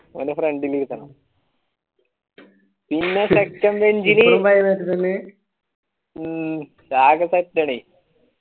പിന്നെ second bench ഇല് ഉം ഒറ്റടി